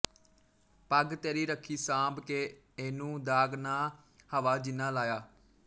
ਪੱਗ ਤੇਰੀ ਰੱਖੀ ਸਾਂਭ ਕੇ ਇਹਨੂੰ ਦਾਗ਼ ਨਾ ਹਵਾ ਜਿੰਨਾਂ ਲਾਇਆ